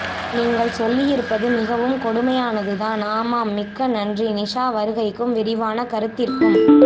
நீங்கள் சொல்லியிருப்பது மிகவும் கொடுமயானதுதான் ஆமாம் மிக்க நன்றி நிஷா வருகைக்கும் விரிவான கருத்திற்கும்